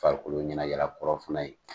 Farikolo ɲɛnajɛla kɔrɔ fana ye